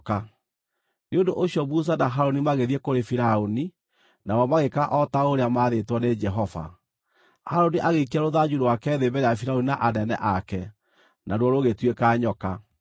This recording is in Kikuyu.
Nĩ ũndũ ũcio Musa na Harũni magĩthiĩ kũrĩ Firaũni, nao magĩĩka o ta ũrĩa maathĩtwo nĩ Jehova. Harũni agĩikia rũthanju rwake thĩ mbere ya Firaũni na anene ake, naruo rũgĩtuĩka nyoka.